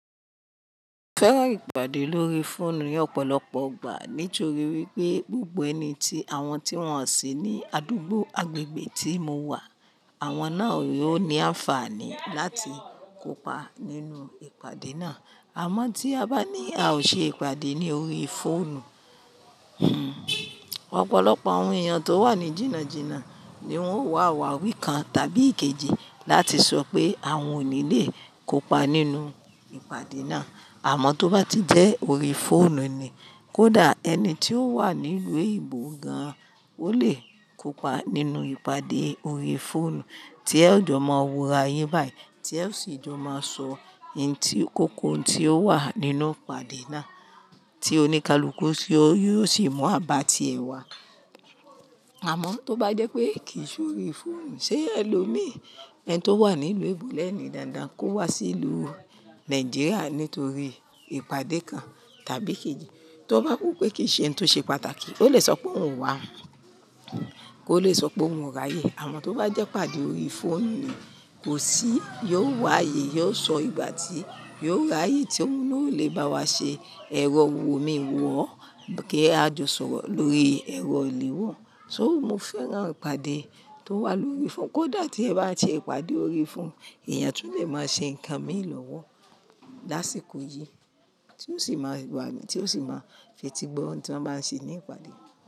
Mo fẹ́ràn ìpàdé lórí fóònù ni ọ̀pọ̀lọpọ̀ ọgbà. Nítorí wípé gbogbo ẹni tí àwọn tí wọ́n sí ní àdúgbò agbègbè tí mo wà, àwọn náà yóò ní àǹfààní láti kópa nínú ìpàdé náà. Àmọ́ tí a bá ní a ò ṣe ìpàdé ní orí fóònù, ọ̀pọ̀lọpọ̀ àwọn èèyàn tó wà ní jìnnà jínnà ni wọ́n ó wà awawí kan tàbí èkejì láti sọ pé àwọn ò ní lè kópa nínú ìpàdé náà. Àmọ́ tó bá ti jẹ́ orí fóònù ni, kódà ẹni tí ó wà nílùú eyinbo gan-an, ó lè kópa nínú ìpàdé orí fóònù tí ẹ́ jọ máa wora yin báyìí, tí ẹ sì jọ máa sọ ohun tí-- kókó ohun tí ó wà nínú ìpàdé náà tí oníkálukú yóò sì mú àbáàtì ẹ̀ wá. Àmọ́ tó bá jẹ́ pé kì í ṣe orí fóònù, ṣé ẹ lo mi? Ẹni tó wà nílùú ebo lẹ́ẹ̀ni dáadáa kó wá sí ìlú Nàìjíríà nítorí ìpàdé kan tàbí ikejì, tó bá rò pé kì í ṣe ohun tó ṣe pàtàkì, ó lè sọ pé òun wá, kó lè sọ pé òun ń ráyè. Àmọ́ tó bá jẹ́ ìpàdé orí fóònù ni, kò sí, yóò wá yé, yóò sọ ìgbà tí yóò ráyè tí òun náà ò lè bá wa ṣe, ẹ̀rọ wò mi wọ̀ o, kí a jọ sọ̀rọ̀ lórí ẹ̀rọ ìléwọ́. So mo fẹ́ràn ìpàdé tó wà lórí fóònù. Kódà tí ẹ bá ṣe ìpàdé orí fóònù, èèyàn tún lè máa ṣe nǹkan mìí lọ́wọ́ lásìkò yìí tí ó sì máa wà-- tí ó sì máa fetí gbọ́ ohun tí wọ́n bá ń ṣe ní ìpàdé.